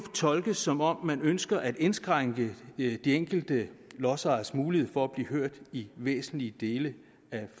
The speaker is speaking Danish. tolkes som om man ønsker at indskrænke de enkelte lodsejeres mulighed for at blive hørt i væsentlige dele af